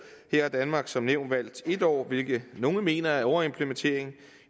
har danmark som nævnt valgt en år hvilket nogle mener er en overimplementering